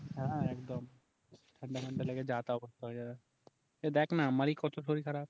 হ্যাঁ একদম ঠান্ডা ফান্ডা লেগে যা তা অবস্থা হয়ে যাবে এই দেখ না আমারই কথা শরীর খারাপ